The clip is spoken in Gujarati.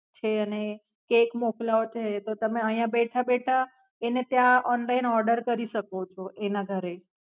છે અને કેક મોકલાવો છે એ તો તમે આયા બેઠા બેઠા એને ત્યાં Online order કરી શકો છો એના ઘરે.